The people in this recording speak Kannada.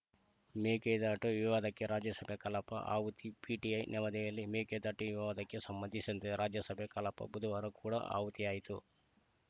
ಮೇಕೆದಾಟು ವಿವಾದಕ್ಕೆ ರಾಜ್ಯಸಭೆ ಕಲಾಪ ಆಹುತಿ ಪಿಟಿಐ ನವದೆಹಲಿ ಮೇಕೆದಾಟು ವಿವಾದಕ್ಕೆ ಸಂಬಂಧಿಸಿದಂತೆ ರಾಜ್ಯಸಭೆ ಕಲಾಪ ಬುಧವಾರ ಕೂಡ ಆಹುತಿಯಾಯಿತು